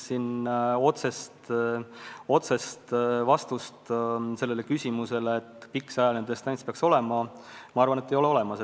Otsest vastust küsimusele, kui pikk see ajaline distants peaks olema, minu arvates ei ole olemas.